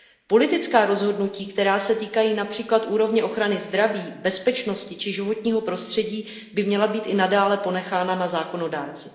Politická rozhodnutí, která se týkají například úrovně ochrany zdraví, bezpečnosti či životního prostředí, by měla být i nadále ponechána na zákonodárci.